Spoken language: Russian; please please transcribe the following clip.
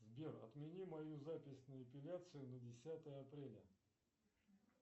сбер отмени мою запись на эпиляцию на десятое апреля